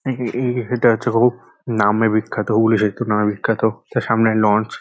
এই-এই সেতু হচ্ছে হোক নামে বিখ্যাত হুগলি সেতু নামে বিখ্যাত তার সামনে লঞ্চ ।